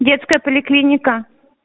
детская поликлиника